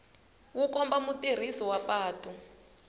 wu komba mutirhisi wa patu